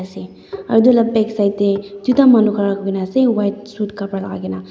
se aru etu lah backside teh duita manu khara kuri na ase white shuit kapra lagai ke na.